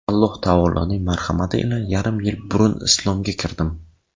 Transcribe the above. Alloh taoloning marhamati ila yarim yil burun islomga kirdim.